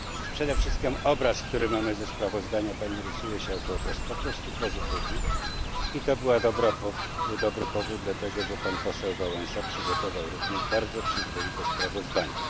Przede wszystkim obraz, który mamy ze sprawozdania Pani, rysuje się jako obraz po prostu pozytywny i to był dobry powód, dlatego że pan poseł Wałęsa przygotował również bardzo przyzwoite sprawozdanie.